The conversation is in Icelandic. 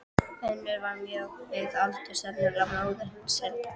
Önnur var mjög við aldur, sennilega móðir hins hengda.